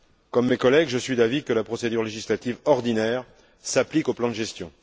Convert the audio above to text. Comme mes collègues, je suis d'avis que la procédure législative ordinaire s'applique au plan de gestion.